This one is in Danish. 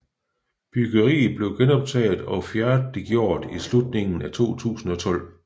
Byggeriet blev genoptaget og færdiggjort i slutningen af 2012